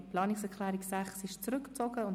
Die Planungserklärung 6 ist zurückgezogen worden.